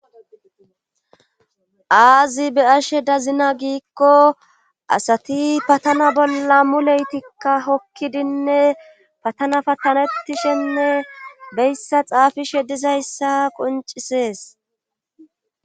aazi be ashe dazina giikko asati patana bolla mu leytikka hokkidinne patana patanettishenne beyssa xaafishe dizayssa qoncisees